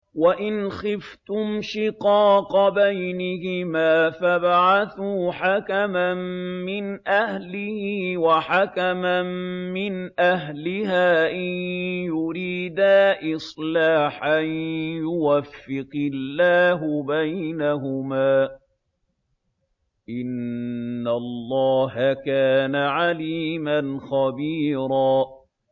وَإِنْ خِفْتُمْ شِقَاقَ بَيْنِهِمَا فَابْعَثُوا حَكَمًا مِّنْ أَهْلِهِ وَحَكَمًا مِّنْ أَهْلِهَا إِن يُرِيدَا إِصْلَاحًا يُوَفِّقِ اللَّهُ بَيْنَهُمَا ۗ إِنَّ اللَّهَ كَانَ عَلِيمًا خَبِيرًا